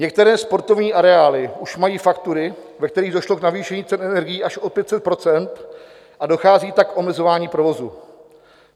Některé sportovní areály už mají faktury, ve kterých došlo k navýšení cen energií až o 500 %, a dochází tak k omezování provozu.